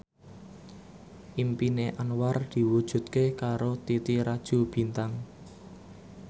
impine Anwar diwujudke karo Titi Rajo Bintang